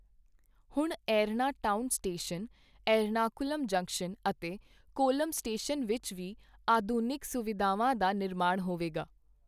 ਹੁਣ Erna town station, Ernakulam junction ਅਤੇ Kollam station ਵਿੱਚ ਵੀ ਆਧੁਨਿਕ ਸੁਵਿਧਾਵਾਂ ਦਾ ਨਿਰਮਾਣ ਹੋਵੇਗਾ।